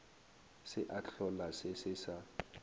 se a hlolase se sa